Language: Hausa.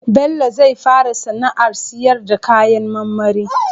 Bello zai fara sAna ar siyar na kayan marmari